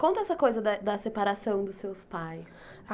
Conta essa coisa da da separação dos seus pais.